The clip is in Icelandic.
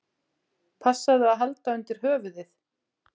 Passaðu að halda undir höfuðið!